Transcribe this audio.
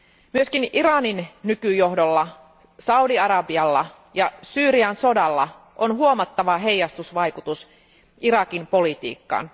Myös Iranin nykyjohdolla, Saudi Arabialla ja Syyrian sodalla on huomattava heijastusvaikutus Irakin politiikkaan.